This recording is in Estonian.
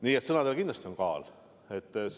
Nii et sõnadel on kindlasti kaal.